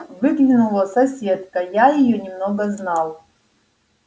выглянула соседка я её немного знал